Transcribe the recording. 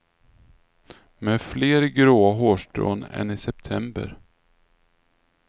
Med fler gråa hårstrån än i september.